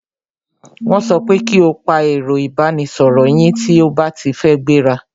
Wọ́n so pe ki e pa ẹ̀ro ìbánisoro yín tí a ba ti fẹ́ gbẹ́ra!